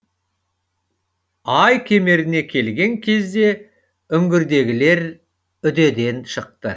ай кемеріне келген кезде үңгірдегілер үдеден шықты